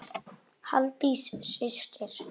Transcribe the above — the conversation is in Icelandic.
Halldís systir.